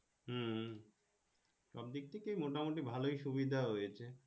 হম সব দিক থেকে মোটামুটি ভালোই সুবিধা হয়েছে।